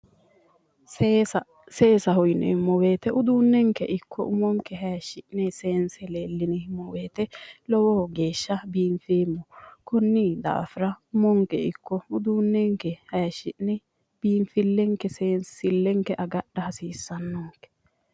Seesa, seesaho yineemmo woyte uduunenke ikko umonke hayishi'ne seense leellineemmo woyte lowo geeshsha biinfeemmo konni daafira uduunenke ikko umonke hayishine biinfilenke seensilenke agadha hasiisanonke